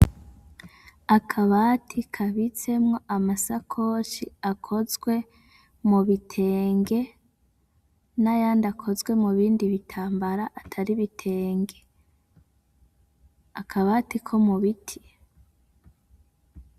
Akabati kabitsemwo amasakoshi akozwe mu bitenge n'ayandi akozwe mu bindi bitambara atari bitenge akabati ko mu biti.